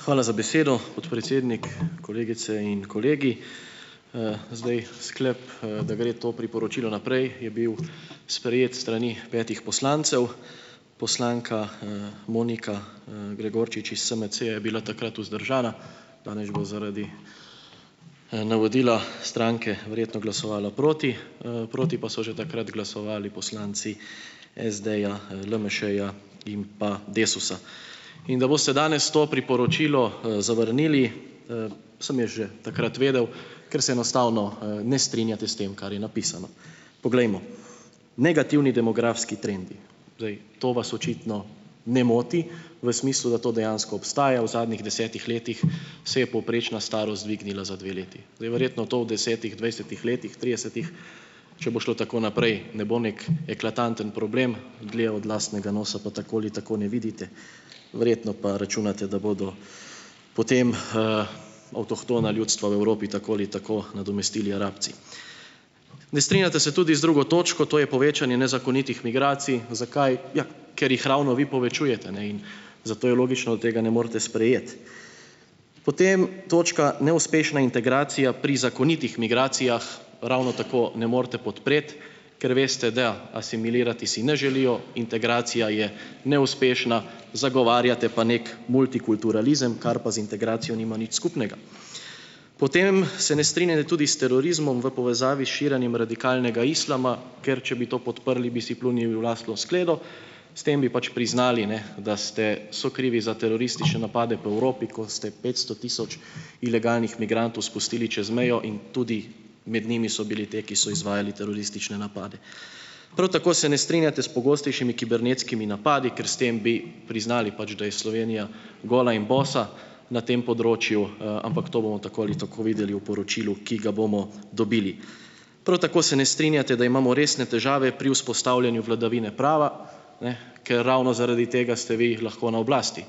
Hvala za besedo, podpredsednik. Kolegice in kolegi! Zdaj sklep, da gre to priporočilo naprej, je bil sprejet s strani petih poslancev. Poslanka, Monika, Gregorčič iz SMC je bila takrat vzdržana. Danes bo zaradi, navodila stranke verjetno glasovala proti. proti pa so že takrat glasovali poslanci SD-ja, LMŠ-ja in pa Desusa. In da boste danes to priporočilo, zavrnili, sem jaz že takrat vedel, ker se enostavno, ne strinjate s tem, kar je napisano. Poglejmo. Negativni demografski trendi, zdaj to vas očitno ne moti v smislu, da to dejansko obstaja. V zadnjih desetih letih se je povprečna starost dvignila za dve leti. Zdaj verjetno to v desetih, dvajsetih letih, tridesetih, če bo šlo tako naprej, ne bo neki eklatanten problem. Dlje od lastnega nosa pa tako ali tako ne vidite. Verjetno pa računate, da bodo potem, avtohtona ljudstva v Evropi tako ali tako nadomestili Arabci. Ne strinjate se tudi z drugo točko, to je povečanje nezakonitih migracij. Zakaj? Ja, ker jih ravno vi povečujete, in zato je logično, da tega ne morete sprejeti. Potem točka neuspešna integracija pri zakonitih migracijah, ravno tako ne morete podpreti, ker veste, da asimilirati si ne želijo, integracija je neuspešna, zagovarjate pa neki multikulturalizem, kar pa z integracijo nima nič skupnega. Potem se ne strinjate tudi s terorizmom v povezavi s širjenjem radikalnega islama, ker če bi to podprli, bi si pljunili v lastno skledo. S tem bi pač priznali, da ste sokrivi za teroristične napade po Evropi, ko ste petsto tisoč ilegalnih migrantov spustili čez mejo in tudi med njimi so bili ti, ki so izvajali teroristične napade. Prav tako se ne strinjate s pogostejšimi kibernetskimi napadi, ker s tem bi priznali pač, da je Slovenija gola in bosa na tem področju, ampak to bomo tako ali tako videli v poročilu, ki ga bomo dobili. Prav tako se ne strinjate, da imamo resne težave pri vzpostavljanju vladavine prava, ker ravno zaradi tega ste vi lahko na oblasti.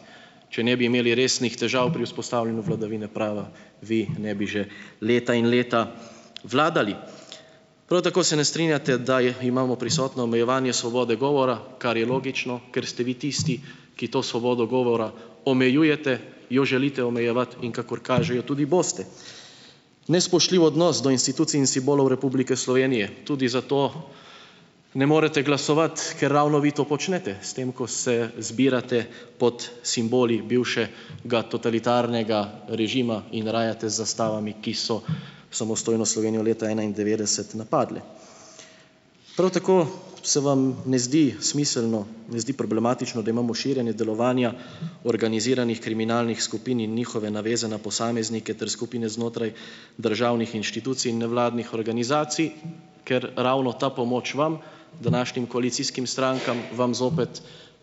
Če ne bi imeli resnih težav pri vzpostavljanju vladavine prava, vi ne bi že leta in leta vladali. Prav tako se ne strinjate, da imamo prisotno omejevanje svobode govora, kar je logično, ker ste vi tisti, ki to svobodo govora omejujete, jo želite omejevati in - kakor kaže - jo tudi boste. Nespoštljiv odnos do institucij in simbolov Republike Slovenije. Tudi za to ne morete glasovati, ker ravno vi to počnete, s tem, ko se izbirate pod simboli totalitarnega režima in rajate z zastavami, ki so samostojno Slovenijo leta enaindevetdeset napadle. Prav tako se vam ne zdi smiselno, ne zdi problematično, da imamo širjenje delovanja organiziranih kriminalnih skupin in njihove naveze na posameznike ter skupine znotraj državnih inštitucij in nevladnih organizacij, ker ravno ta pomoč vam, današnjim koalicijskim strankam, vam zopet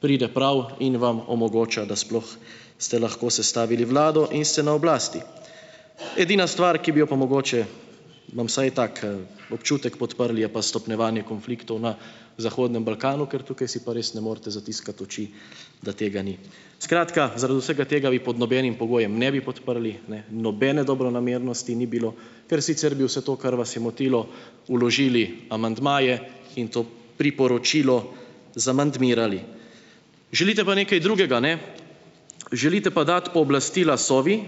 pride prav in vam omogoča, da sploh ste lahko sestavili vlado in ste na oblasti. Edina stvar, ki bi jo pa mogoče, imam vsaj tak, občutek, podprli, je pa stopnjevanje konfliktov na zahodnem Balkanu, ker tukaj si pa res ne morete zatiskati oči, da tega ni. Skratka, zaradi vsega tega vi pod nobenim pogojem ne bi podprli, nobene dobronamernosti ni bilo, ker sicer bi vse to, kar vas je motilo, vložili amandmaje in to priporočilo zamandmirali. Želite pa nekaj drugega, Želite pa dati pooblastila Sovi,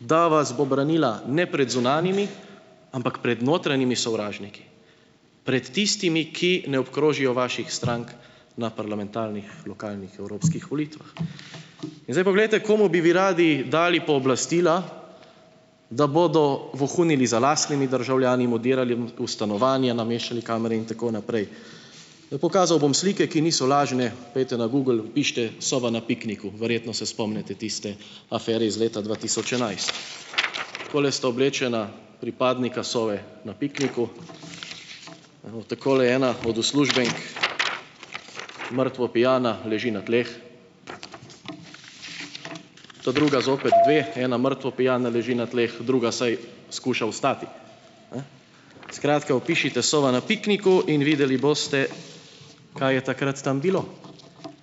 da vas bo branila ne pred zunanjimi, ampak pred notranjimi sovražniki, pred tistimi, ki ne obkrožijo vaših strank na parlamentarnih, lokalnih, evropskih volitvah. In zdaj poglejte, komu bi vi radi dali pooblastila, da bodo vohunili za lastnimi državljani, jim vdirali v stanovanja, nameščali kamere in tako naprej. pokazal bom slike, ki niso lažne. Pojdite na Google, vpišite "Sova na pikniku", verjetno se spomnite tiste afere iz leta dva tisoč enajst. Takole sta oblečena pripadnika Sove na pikniku, evo, takole ena od uslužbenk mrtvo pijana leži na tleh, ta druga, zopet dve, ena mrtvo pijana leži na tleh, druga vsaj skuša vstati, Skratka, vpišite "Sova na pikniku" in videli boste, kaj je takrat tam bilo,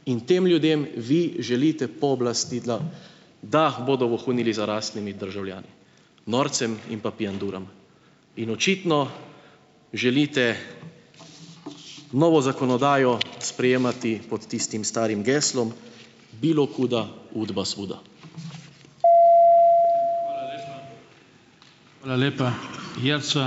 in tem ljudem vi želite pooblastila, da bodo vohunili za lastnimi državljani, norcem in pa pijanduram, in očitno želite novo zakonodajo sprejemati pod tistim starim geslom,